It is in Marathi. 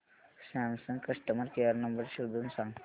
सॅमसंग कस्टमर केअर नंबर शोधून सांग